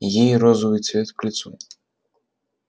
ей розовый цвет к лицу